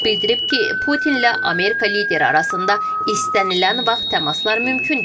Bildirib ki, Putinlə Amerika lideri arasında istənilən vaxt təmaslar mümkündür.